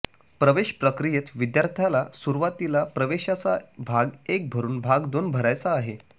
प्रवेश प्रकियेत विद्यार्थ्याला सुरवातीला प्रवेशाचा भाग एक भरुन भाग दोन भरायचा आहे